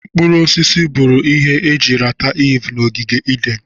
Mkpụrụ osisi bụrụ ihe eji rata Iv na ogige Eden.